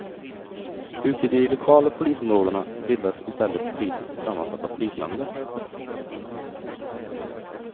Ute i de lokala polisområdena bildas istället politiskt sammansatta polisnämnder.